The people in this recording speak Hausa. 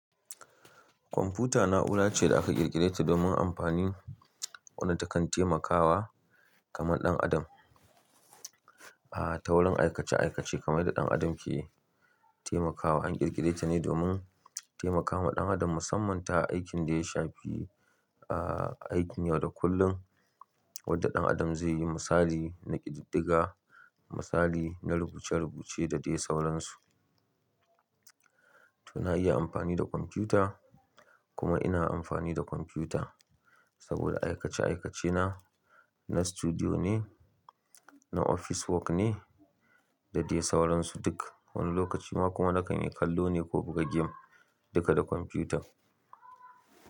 Kwamfuta na'ura ce da aka ƙirƙire ta domin amfani wanda takan taimakawa kamar ɗan adam. A ta wurin aikace-aikace kamar da ɗan adam ke taimakawa an ƙirƙire ta ne domin taimakawa ɗan adam musamman ta aikin da ya shafi aikin yau da kullum wadda ɗan adam zai yi misali na ƙididdiga, misali na rubuce-rubuce da dai sauransu. To na iya amfani da kwamfuta kuma ina amfani da kwamfuta saboda aikace-aikacena na studio ne, na office work ne da dai sauransu duk wani lokaci ma kuma na kan kallo ne ko buga gem duka da kwamfuta.